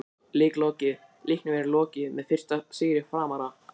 Leik lokið: Leiknum er lokið með fyrsta sigri Framara!!